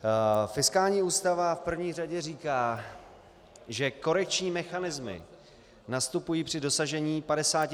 Fiskální ústava v první řadě říká, že korekční mechanismy nastupují při dosažení 55 % zadlužení.